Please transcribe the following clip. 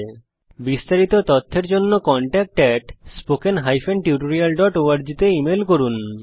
এই বিষয়ে বিস্তারিত তথ্যের জন্য কনট্যাক্ট spoken tutorialorg তে ইমেল করুন